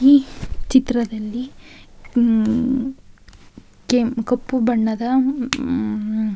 ಈ ಚಿತ್ರದಲ್ಲಿ ಹಮಮ್ಮ್ ಕೆಮ್ ಕಪ್ಪು ಬಣ್ಣದ ಹಮಮ್ಮ್--